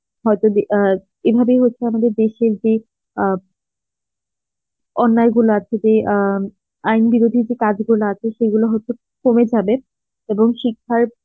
হয়ত যে আ এভাবেই হচ্ছে আমাদের দেশের যে আ অন্যায়গুলো আছে যে আ আইন বিরোধী যে কাজগুলো আছে সেগুলো হয়তো কমে যাবে এবং শিক্ষার